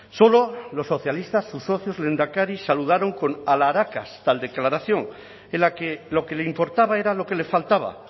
solo los socialistas sus socios lehendakari saludaron con alharacas tal declaración en la que lo que le importaba era lo que le faltaba